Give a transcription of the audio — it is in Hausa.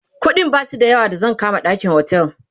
ƙuɗin Basu da yawa da zan kama ɗakin otel